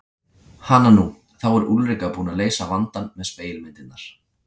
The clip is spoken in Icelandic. Hananú, þá er Úlrika búin að leysa vandann með spegilmyndirnar.